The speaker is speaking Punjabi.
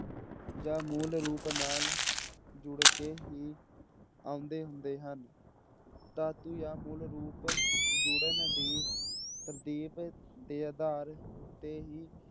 ਜਾਂ ਮੂਲ ਰੂਪ ਨਾਲ ਜੁੜ ਕੇ ਹੀ ਆਉਂਦੇ ਹੁੰਦੇ ਹਨ, ਧਾਤੂ ਜਾਂ ਮੂਲ ਰੂਪ ਜੁੜਨ ਦੀ ਤਰਤੀਬ ਦੇ ਆਧਾਰ ਤੇ ਹੀ